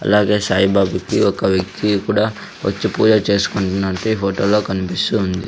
అలాగే సాయిబాబాకి ఒక వ్యక్తి కుడా వచ్చి పూజ చేసుకుంటున్నట్టు ఈ ఫోటో లో కన్పిస్తూ ఉంది.